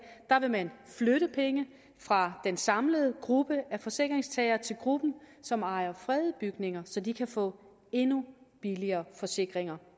vil man flytte penge fra den samlede gruppe af forsikringstagere til gruppen som ejer fredede bygninger så de kan få endnu billigere forsikringer